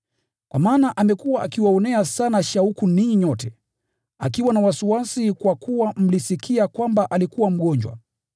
Kwa maana amekuwa akiwaonea sana shauku ninyi nyote, akiwa na wasiwasi kwa kuwa mlisikia kwamba alikuwa mgonjwa.